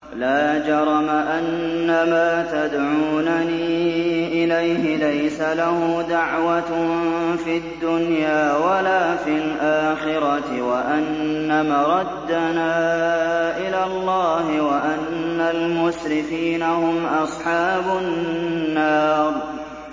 لَا جَرَمَ أَنَّمَا تَدْعُونَنِي إِلَيْهِ لَيْسَ لَهُ دَعْوَةٌ فِي الدُّنْيَا وَلَا فِي الْآخِرَةِ وَأَنَّ مَرَدَّنَا إِلَى اللَّهِ وَأَنَّ الْمُسْرِفِينَ هُمْ أَصْحَابُ النَّارِ